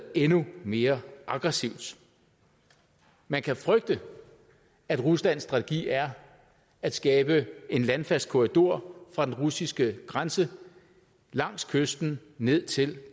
endnu mere aggressivt man kan frygte at ruslands strategi er at skabe en landfast korridor fra den russiske grænse langs kysten ned til